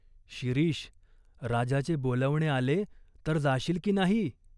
"शिरीष, राजाचे बोलावणे आले तर जाशील की नाही ?